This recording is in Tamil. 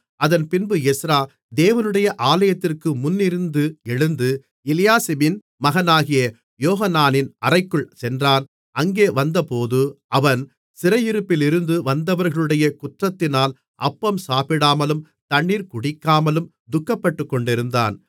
அதன்பின்பு எஸ்றா தேவனுடைய ஆலயத்திற்கு முன்னிருந்து எழுந்து எலியாசிபின் மகனாகிய யோகனானின் அறைக்குள் சென்றான் அங்கே வந்தபோது அவன் சிறையிருப்பிலிருந்து வந்தவர்களுடைய குற்றத்தினால் அப்பம் சாப்பிடாமலும் தண்ணீர் குடிக்காமலும் துக்கப்பட்டுக்கொண்டிருந்தான்